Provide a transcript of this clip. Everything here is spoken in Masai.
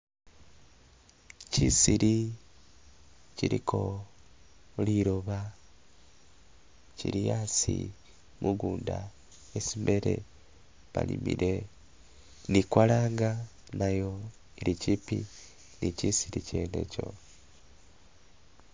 Kyisiri kyiliko liloba kyili asi mugunda esi bele balimile, ni kwalanga nayo eli kyipi ni kyisiri kyene ikyo.